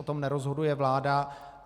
O tom nerozhoduje vláda.